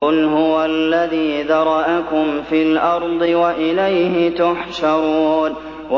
قُلْ هُوَ الَّذِي ذَرَأَكُمْ فِي الْأَرْضِ وَإِلَيْهِ تُحْشَرُونَ